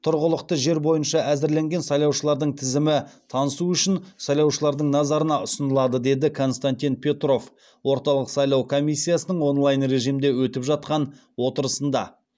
тұрғылықты жер бойынша әзірленген сайлаушылардың тізімі танысу үшін сайлаушылардың назарына ұсынылады деді константин петров орталық сайлау комиссиясының онлайн режимде өтіп жатқан отырысында